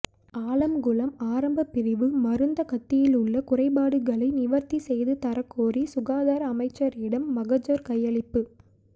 ஆலம்குளம் ஆரம்ப பிரிவு மருந்தகத்திலுள்ள குறைபாடுகளை நிவர்த்தி செய்துதரக்கோரி சுகாதார அமைச்சரிடம் மகஜர் கையளிப்பு